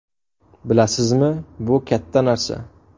Bilasizmi, bu katta narsa!